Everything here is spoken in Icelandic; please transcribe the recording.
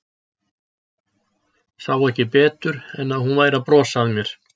Sá ekki betur en að hún væri að brosa að mér.